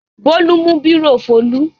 Bólú mú bírò Folú.